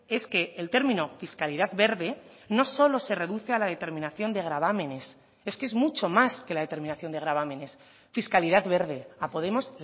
es que el término fiscalidad verde no solo se reduce a la determinación de gravámenes es que es mucho más que la determinación de gravámenes fiscalidad verde a podemos